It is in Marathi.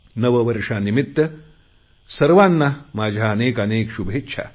नववर्षानिमित्त सर्वांना माझ्या अनेक अनेक शुभेच्छा